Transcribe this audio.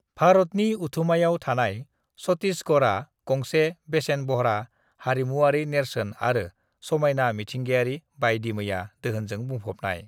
भारतनि उथुमायाव थानाय छत्तीसगढ़आ गंसे बेसेनबह्रा हारिमुआरि नेरसोन आरो समायना मिथिंगायारि बायदिमैया दोहोनजों बुंफबनाय।